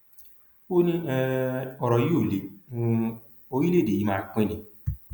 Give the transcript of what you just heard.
ó ní um ọrọ yìí ò lé um orílẹèdè yìí máa pín ni